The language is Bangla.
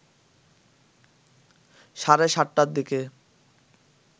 সাড়ে ৭টার দিকে